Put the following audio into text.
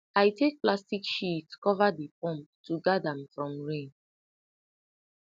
i take plastic sheet cover di pump to guard am from rain